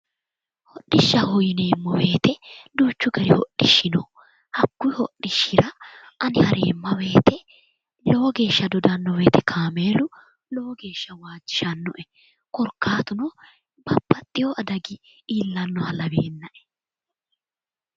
Hodhishshaho yineemmo woyiite duuchu gari hodhishshi no. hakkuyi hodhishshira ani hareemma woyiite lowo geeshsha dodanno wooyiite kaameelu lowo geeshsha waajjishannoe korkaatuno babbaxxewo adagi iillannoha laweennae.